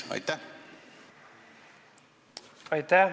Aitäh!